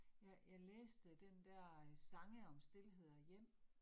Ja, jeg læste den dér øh Sange om Stilhed og Hjem